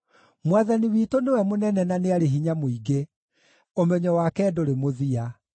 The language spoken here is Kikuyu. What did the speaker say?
Mwathani witũ nĩwe mũnene na nĩ arĩ hinya mũingĩ; ũmenyo wake ndũrĩ mũthia.